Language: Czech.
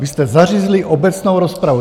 Vy jste zařízli obecnou rozpravu.